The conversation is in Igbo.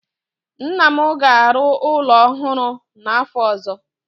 Nna m ga-arụ ụlọ ọhụrụ n'afọ ọzọ.